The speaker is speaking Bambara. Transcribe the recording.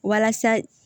Walasa